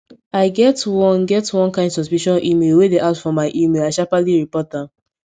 i get one get one kain suspicious email wey dey ask for my email i sharpaly report am